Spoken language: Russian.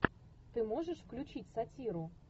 ты можешь включить сатиру